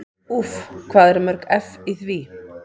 Úff hvað eru mörg eff í því?